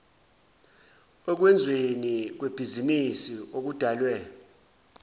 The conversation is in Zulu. okwenzweni kwebhizinisi okudalwe